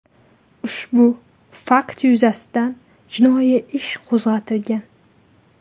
Ushbu fakt yuzasidan jinoiy ish qo‘zg‘atilgan.